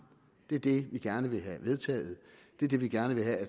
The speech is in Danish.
det er det vi gerne vil have vedtaget det er det vil gerne have